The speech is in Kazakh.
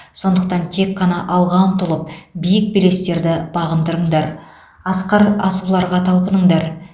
сондықтан тек қана алға ұмтылып биік белестерді бағындырыңдар асқар асуларға талпыныңдар